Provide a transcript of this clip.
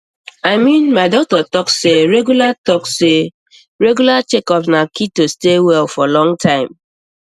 i mean my doctor talk say regular talk say regular checkups na key to stay well for long time